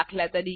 દાત